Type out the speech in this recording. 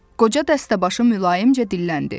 Qoca dəstəbaşı mülayimcə dilləndi.